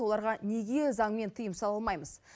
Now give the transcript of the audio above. оларға неге заңмен тыйым сала алмаймыз